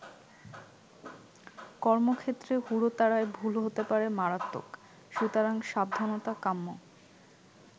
কর্মক্ষেত্রে হুড়োতাড়ায় ভুল হতে পারে মারাত্মক, সুতরাং সাবধানতা কাম্য।